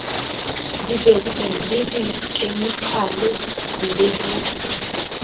dibeso le dikhemikale le ho